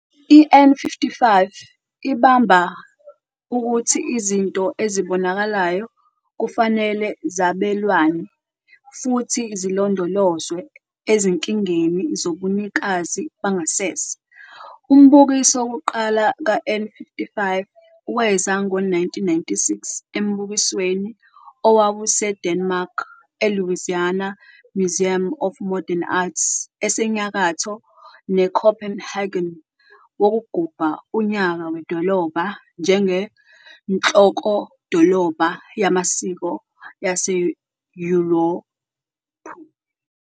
I-N55 ibamba ukuthi izinto ezibonakalayo kufanele zabelwane futhi zilondolozwe ezinkingeni zobunikazi bangasese. Umbukiso wokuqala kaN55 weza ngo-1996 embukisweni owawuseDenmark eLouisiana Museum of Modern Art, esenyakatho neCopenhagen, wokugubha unyaka wedolobha njengenhlokodolobha yamasiko aseYurophu.